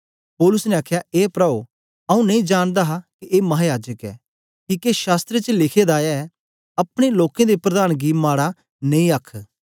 पौलुस ने आखया ए प्राओ आंऊँ नेई जानदा हा के ए महायाजक ऐ किके शास्त्र च लिखे दा ऐ अपने लोकें दे प्रधान गी माड़ा नेई आखन